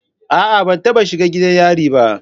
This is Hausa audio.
A'a ban taba shiga gidan yari ba.